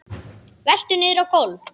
Veltur niður á gólf.